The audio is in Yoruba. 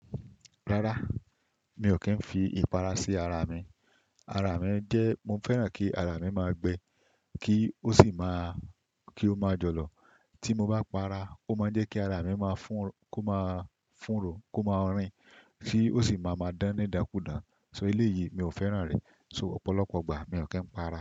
Rárá, mi ò kí ń fi ìpara sí ara mi. Ara mi jẹ́, mo fẹ́ràn kí ara mi máa gbẹ kí ó sì máa, kí ó máa jọ̀lọ̀. Tí mo bá para, ó máa ń jẹ́ kí ara mi máa fún, kó máa fúnro, kó máa rìn kí ó sì máa máa dán ní idánkudàn. So eléyìí mi ò fẹ́ràn rẹ̀. So ọ̀pọ̀lọpọ̀ ìgbà mi ò kí ń para.